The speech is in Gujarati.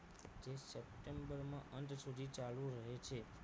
september ના અંત સુધી ચાલુ રહે છે